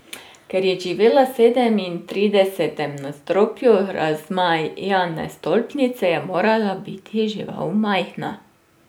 Ker je živela v sedemintridesetem nadstropju razmajane stolpnice, je morala biti žival majhna.